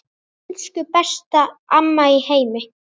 Elsku besta amma í heimi.